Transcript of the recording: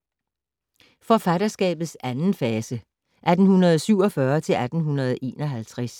Forfatterskabets anden fase (1847-1851)